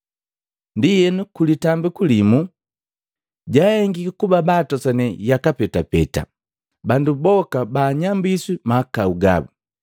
Ndienu, ku litambiku laki limu, jaahengiki kuba baatosane yaka petapeta, bandu boka baanyambiswi mahakau gabu.